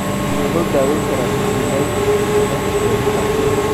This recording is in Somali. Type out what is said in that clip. Sidee loo daweyn karaa pityriasis lichenoides chronica?